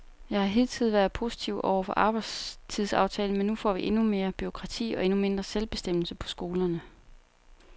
Jeg har hidtil været positiv over for arbejdstidsaftalen, men nu får vi endnu mere bureaukrati og endnu mindre selvbestemmelse på skolerne.